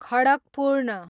खडकपूर्ण